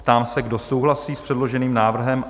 Ptám se, kdo souhlasí s předloženým návrhem?